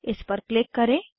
इस पर क्लिक करें